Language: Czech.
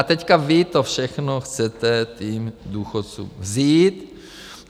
A teď vy to všechno chcete těm důchodcům vzít.